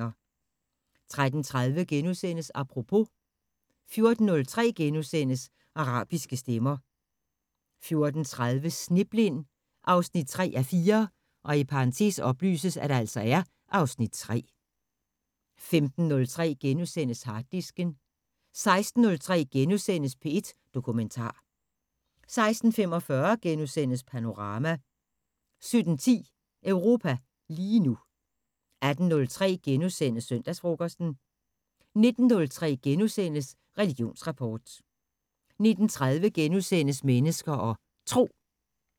13:30: Apropos * 14:03: Arabiske stemmer * 14:30: Sneblind 3:4 (Afs. 3) 15:03: Harddisken * 16:03: P1 Dokumentar * 16:45: Panorama * 17:10: Europa lige nu 18:03: Søndagsfrokosten * 19:03: Religionsrapport * 19:30: Mennesker og Tro *